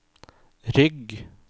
rygg